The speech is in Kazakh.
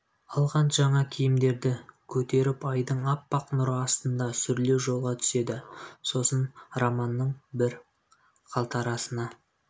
алған жаңа киімдерді көтеріп айдың аппақ нұры астында сүрлеу жолға түседі сосын романның бір қалтарысына